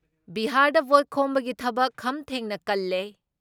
ꯕꯤꯍꯥꯔꯗ vote ꯈꯣꯝꯕꯒꯤ ꯊꯕꯛ ꯈꯝ ꯊꯦꯡꯅ ꯀꯜꯂꯦ ꯫